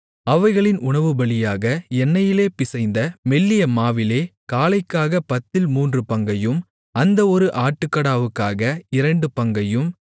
அவைகளின் உணவுபலியாக எண்ணெயிலே பிசைந்த மெல்லிய மாவிலே காளைக்காகப் பத்தில் மூன்று பங்கையும் அந்த ஒரு ஆட்டுக்கடாவுக்காக இரண்டு பங்கையும்